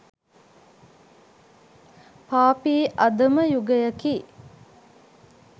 පාපී අධම යුගයකි.